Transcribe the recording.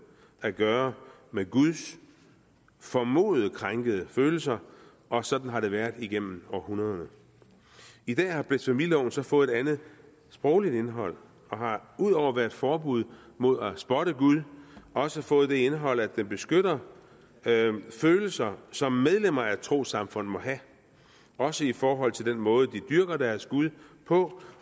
at gøre med guds formodet krænkede følelser og sådan har det været igennem århundreder i dag har blasfemiloven så fået et andet sprogligt indhold og har ud over at være et forbud mod at spotte gud også fået det indhold at den beskytter følelser som medlemmer af et trossamfund måtte have også i forhold til den måde de dyrker deres gud på